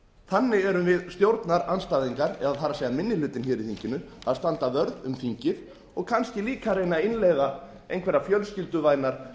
þannig erum við stjórnarandstæðingar það er minni hlutinn í þinginu að standa vörð um þingið og kannski líka að reyna að innleiða einhverjar fjölskylduvænar